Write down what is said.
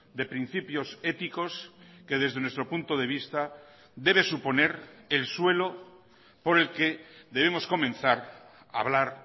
de principios éticos que desde nuestro punto de vista debe suponer el suelo por el que debemos comenzar a hablar